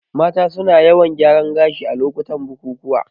Mata su na yawan gyaran gashi a lokutan bukukuwa